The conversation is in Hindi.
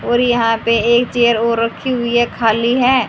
और यहाँ पे एक चेयर और रखी हुई है खाली है।